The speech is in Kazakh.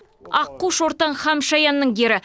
аққу шортан һәм шаянның кері